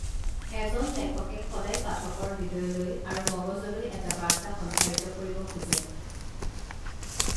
এজন লেখকে সদায় পাঠকৰ হৃদয়লৈ আৰু মগজলৈ এটা বাৰ্তা সঞ্চাৰিত কৰিব খোজে